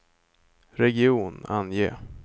region, ange